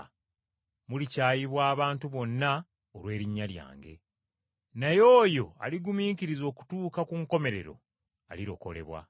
Mulikyayibwa abantu bonna olw’erinnya lyange. Naye oyo aligumiikiriza okutuuka ku nkomerero alirokolebwa.